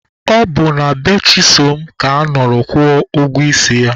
Ọ bụ na be Chisom ka a nọrọ kwụọ ụgwọ isi ya.